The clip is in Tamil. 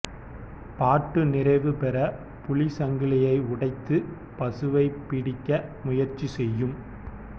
பாட்டு நிறைவுபெற புலி சங்கிலியை உடைத்து பசுவைப்பிடிக்க முயற்சி செய்யும்